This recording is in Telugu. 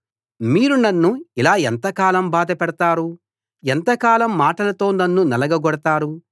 మీరు నన్ను ఇలా ఎంతకాలం బాధపెడతారు ఎంతకాలం మాటలతో నన్ను నలగగొడతారు